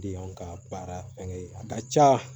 De y'anw ka baara fɛnkɛ ye a ka ca